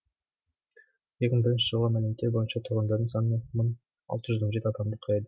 екі мың бірінші жылғы мәліметтер бойынша тұрғындарының саны бір мың алты жүз он жеті адамды құрайды